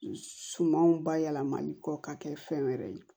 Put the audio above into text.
Sumanw bayɛlɛmali kɔ ka kɛ fɛn wɛrɛ ye